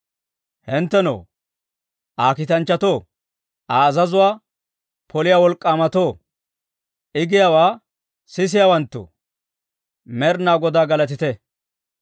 Hinttenoo, Aa kiitanchchatoo, Aa azazuwaa poliyaa wolk'k'aamatoo, I giyaawaa sisisiyaawantto, Med'inaa Godaa galatite!